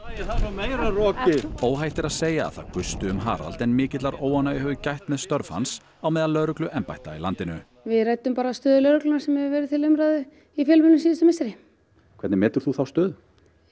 meira rokið óhætt er að segja að það gusti um Harald en mikillar óánægju hefur gætt með störf hans á meðal lögregluembætta í landinu við ræddum stöðu lögreglunnar sem hefur verið til umræðu í fjölmiðlum síðustu misseri hvernig metur þú þá stöðu